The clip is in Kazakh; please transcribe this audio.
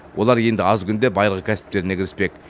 олар енді аз күнде байырғы кәсіптеріне кіріспек